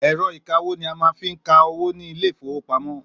Èro ìka-owó ni a máa ń fi ka owó ní Ilé-ìfowópamó.